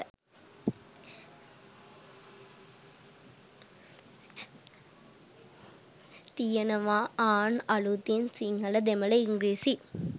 තියෙනවා ආන් අළුතින් සිංහල දෙමල ඉංග්‍රීසි